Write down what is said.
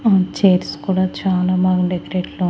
ఉమ్ chairs కూడా చాలా బాగుండేది .